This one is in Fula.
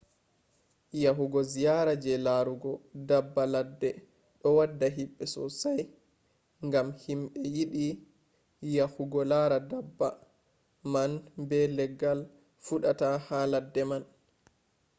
yahugo ziyara je larugo daabba ladde ɗo wadda himɓe sosai gam himɓe yiɗi yahugo lara daabba man be leggal fuɗata ha ladde man